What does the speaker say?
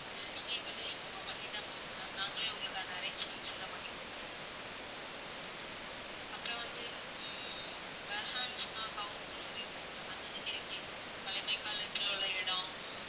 ஹம் நீங்க எங்ககிட்ட inform பண்ணிட்டா போதும் ma'am நாங்களே உங்களுக்கு அந்த arrangements எல்லாம் பண்ணி கொடுத்துருவோம் அப்பறம் வந்து ஹம் behensko house ன்னு ஒரு இது இருக்கு ma'am அதாவது heritage பழமை காலத்துல உள்ள இடம்